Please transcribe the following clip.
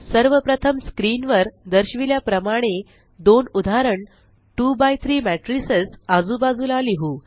सर्व प्रथम स्क्रीन वर दर्शविल्या प्रमाणे दोन उदाहरण 2 बाय 3 matricesआजूबाजूला लिहु